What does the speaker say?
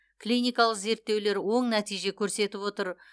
клиникалық зерттеулер оң нәтиже көрсетіп отыр